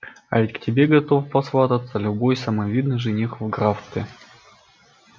а ведь к тебе готов посвататься любой самый видный жених в графстве